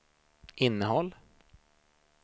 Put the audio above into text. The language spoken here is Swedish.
innehåll